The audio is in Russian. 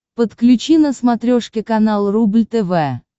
подключи на смотрешке канал рубль тв